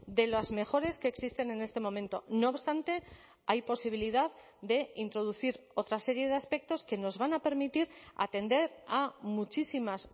de las mejores que existen en este momento no obstante hay posibilidad de introducir otra serie de aspectos que nos van a permitir atender a muchísimas